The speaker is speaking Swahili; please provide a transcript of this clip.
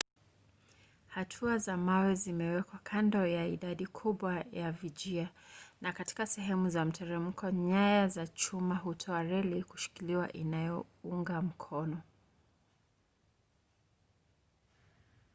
hatua za mawe zimewekwa kando ya idadi kubwa ya vijia na katika sehemu za mteremko nyaya za chuma hutoa reli za kushikiliwa inayounga mikono